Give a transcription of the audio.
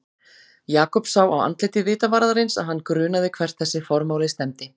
Jakob sá á andliti vitavarðarins að hann grunaði hvert þessi formáli stefndi.